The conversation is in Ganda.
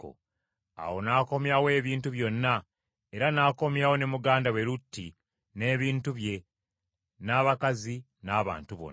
Awo n’akomyawo ebintu byonna, era n’akomyawo ne muganda we Lutti n’ebintu bye n’abakazi n’abantu bonna.